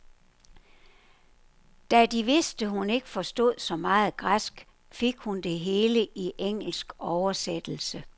Da de vidste, hun ikke forstod så meget græsk, fik hun det hele i engelsk oversættelse.